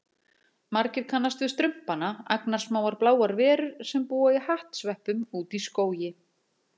Margir kannast við Strumpana, agnarsmáar bláar verur sem búa í hattsveppum úti í skógi.